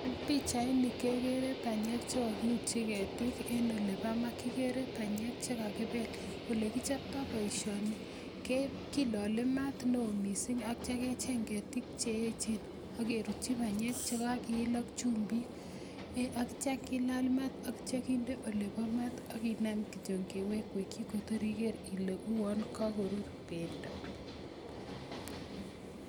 Pichaini kegere banyek ch kogirutyi ketik, en olebo maa. Kigere banyek che kakibel, ole kichpto boisioni killole maat neo mising ak kityo kecheng ketik ch eechen ak kerutyi banyek che kakiil ak chumbik. Ak kityo kilal maat ak kityo kinde olebo maat, ak kinem kityo kewekwekyi kotor iger ile uwon kagorur bendo.